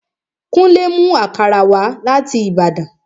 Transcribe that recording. Kúnlé mú àkàrà wá láti Ìbàdàn